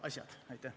Aitäh!